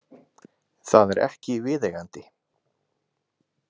Það er ekki viðeigandi.